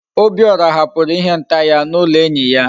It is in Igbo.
Obiora hapuru ihe nta ya na ulo enyi ya